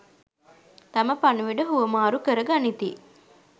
තම පණිවුඩ හුවමාරු කර ගනිති.